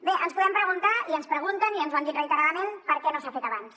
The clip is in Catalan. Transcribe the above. bé ens podem preguntar i ens ho pregunten i ens ho han dit reiteradament per què no s’ha fet abans